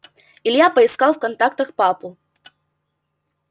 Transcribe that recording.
илья поискал в контактах папу